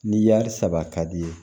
Ni saba ka di ye